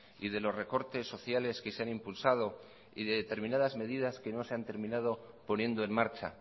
y de los recortes sociales que se han impulsado y de determinadas medidas que no se han terminado poniendo en marcha